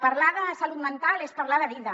parlar de salut mental és parlar de vida